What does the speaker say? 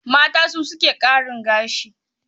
Mata su suke ƙarin gashi.